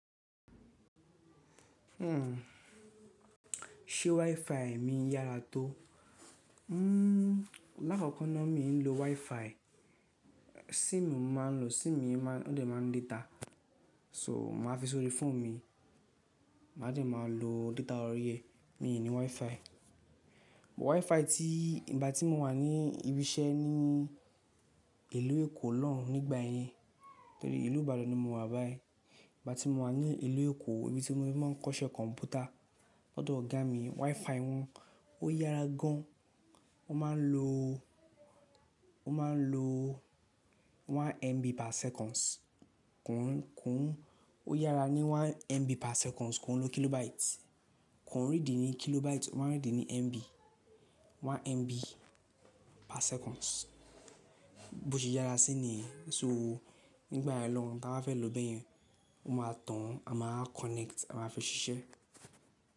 Ṣé WiFi mi yára tó? Lákoko náà mi o kin lo WiFi. SIM ni mo máa n lò, SIM mi ó dẹ̀ máa n data. So màá fi sórí fóònù mi, màá dẹ̀ máa lo data orí ẹ. Mi ò ní WiFi. WiFi tí ìgbà tí mo wà ní ibi iṣẹ́ ní ìlú Èkó lọ́hùn nígbà ẹyin. Tori ìlú Ìbàdàn ni mo wà báyìí. Ìgbà tí mo wà ní ìlú Èkó ibi tí moti ripe won kọ́ṣẹ́ kọ̀m̀pútà, lódo ọ̀gá mi WiFi wọn ó yára gan. Wọ́n máa n lò, wọ́n máa n lò 1MB/s. Kùn ún, kùn ún ó yára ní 1MB/s, ko kin lo KB. Kon rídi ní KB, wọ́n rí di ní MB. 1MB/s. Bó ṣe yára sí niyen, ṣó nígbà yẹn lọ̀hùn tí a bá fẹ́ lò bẹ́yẹn, won máa tàn a máa wa connect a máa fi ṣiṣẹ́